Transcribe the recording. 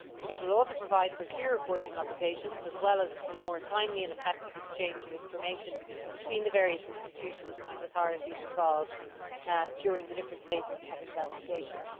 It will also provide for clear reporting obligations, as well as for more timely and effective exchange of information between the various institutions and authorities involved during the different phases of investigations.